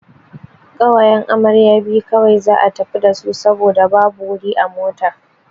Ƙawayen amarya biyu kawai za'a tafi dasu saboda babu wuri a mota.